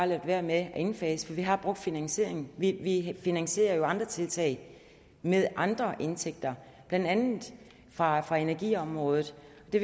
ladet være med at indfase for vi har brugt finansieringen vi vi finansierer jo andre tiltag med andre indtægter blandt andet fra fra energiområdet det